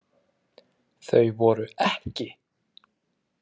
Þau voru EKKI.